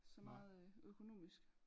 Så meget øh økonomisk